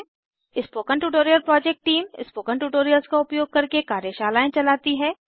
spoken tutorial project team spoken tutorials का उपयोग करके कार्यशालाएँ चलाती है